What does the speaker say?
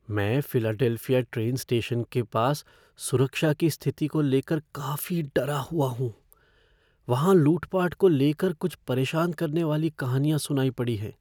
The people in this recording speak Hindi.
मैं फ़िलाडेल्फिया ट्रेन स्टेशन के पास सुरक्षा की स्थिति को ले कर काफ़ी डरा हुआ हूँ, वहाँ लूट पाट को ले कर कुछ परेशान करने वाली कहानियाँ सुनाई पड़ी हैं।